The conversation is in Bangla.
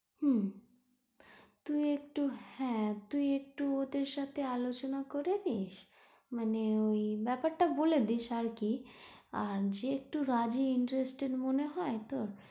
হুম, তুই একটু হ্যাঁ, তুই একটু ওদের সাথে আলোচনা করে নিস মানে ওই ব্যাপারটা বলে দিস আরকি, আর যে একটু রাজি interested মনে হয় তোর